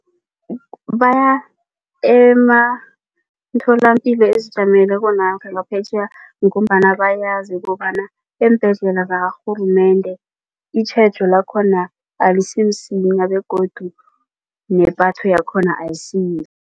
Baya ematholapilo ezijameleko namkha ngaphetjheya ngombana bayazi kobana eembhedlela zakarhulumende itjhejo lakhona alisimsinya begodu nepatho yakhona ayisiyihle.